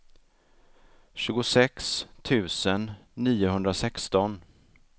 tjugosex tusen niohundrasexton